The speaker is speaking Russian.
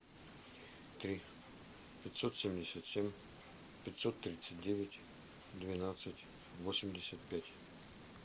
три пятьсот семьдесят семь пятьсот тридцать девять двенадцать восемьдесят пять